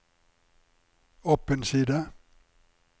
opp en side